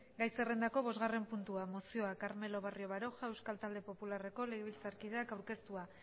gai zerrendako bosgarren puntua mozioa carmelo barrio baroja euskal talde popularreko legebiltzarkideak aurkeztua